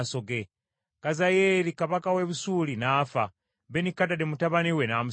Kazayeeri kabaka w’e Busuuli n’afa, Benikadadi mutabani we n’amusikira.